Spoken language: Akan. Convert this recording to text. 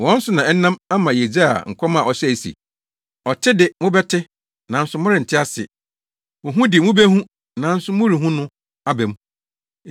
Wɔn so na ɛnam ama Yesaia nkɔm a ɔhyɛe se, “ ‘Ɔte de, mobɛte, nanso morente ase; ohu de, mubehu, nanso morenhu no, aba mu.